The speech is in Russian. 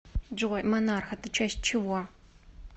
джой монарх это часть чего